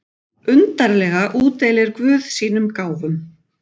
Undarlega útdeilir guð sínum gáfum.